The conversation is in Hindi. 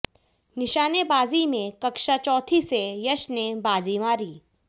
निशानेबाजी में कक्षा चौथीं से यश ने बाजी मारी